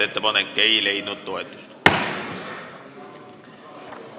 Ettepanek ei leidnud toetust.